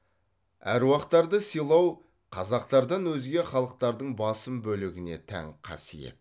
аруақтарды сыйлау қазақтардан өзге халықтардың басым бөлігіне тән қасиет